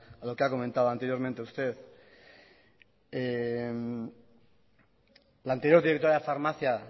a lo que ha comentado anteriormente usted la anterior directora de la farmacia